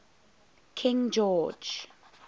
king george